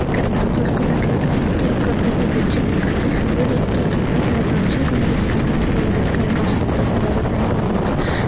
ఇక్కడ మనం చూసినట్టు అయితే ఒక పెద్ద అంతేనా కనిపిస్తుంది అది చుడానికి ఒక లోయల గ ఉంది.